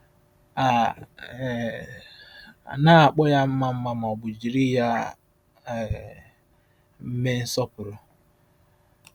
A um naghị akpọ ya mma mma ma ọ bụ jiri ya um mee nsọpụrụ.